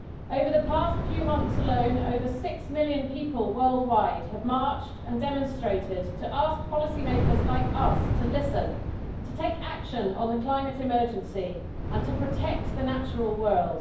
Over the past few months alone, over six million people worldwide have marched and demonstrated to ask policymakers like us to listen, to take action on the climate emergency, and to protect the natural world.